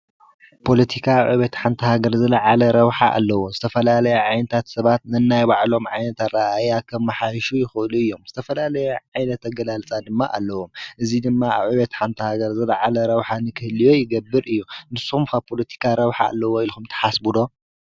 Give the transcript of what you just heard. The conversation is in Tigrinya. ጶሎቲካ ኣብ ዕብየት ሓንቲ ሃገር ዘለ ዓለ ረብሓ ኣለዎ ዝተፈላለያ ዓይንታት ሰባት ንናይባዕሎም ዓይነት ረ ያኸብ መሓይሹ ይዂእሉ እዮም። ዝተፈላለይ ዓይነተ ገላልጻ ድማ ኣለዎ እዙይ ድማ ኣብ ዕቤት ሓንቲ ሃገር ዘለዓለ ረውኃ ንክህልዮ ይገብር እዩ ።ንስም ጶሎቲካ ረውኃ ኣለዎ ኢልኹም ተሓስቡዶ?